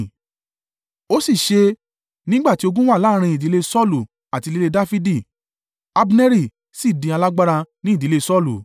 Ó sì ṣe, nígbà tí ogun wà láàrín ìdílé Saulu àti ìdílé Dafidi, Abneri sì dì alágbára ní ìdílé Saulu.